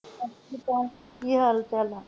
ਜੀ ਸਤਿ ਸ਼੍ਰੀ ਅਕਾਲ। ਕਿ ਹਾਲ ਚਾਲ ਆ